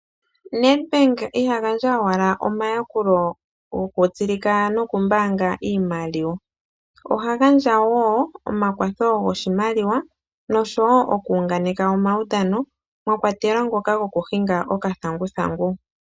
Nedbank iha gandja owala omayakulo gokutsilika nokumbaanga iimaliwa oha gandja wo omakwatho goshimaliwa nosho wo okunganeka omaudhano mwa kwatelwa gokuhinga okathanguthangu.